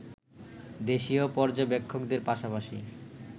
দেশীয় পর্যবেক্ষকদের পাশাপাশি